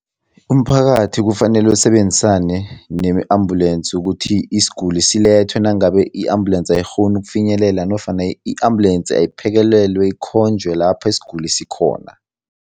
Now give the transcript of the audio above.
Umphakathi kufanele usebenzisane ne-ambulensi ukuthi isiguli silethwe nangabe i-ambulensi ayikghoni ukufinyelela nofana i-ambulensi ayiphekelelwe, ikhonjwe lapho isiguli sikhona.